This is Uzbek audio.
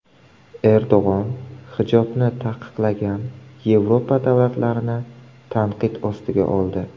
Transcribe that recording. Erdo‘g‘on hijobni taqiqlagan Yevropa davlatlarini tanqid ostiga oldi.